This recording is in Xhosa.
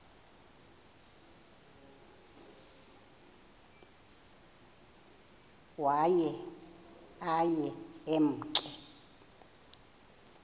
waye aye emke